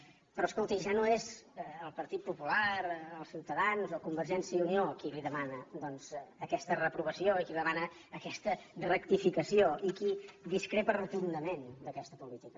pe rò escolti ja no és el partit popular ciutadans o convergència i unió qui li demana aquesta reprovació i qui li demana aquesta rectificació i qui discrepa rotundament d’aquesta política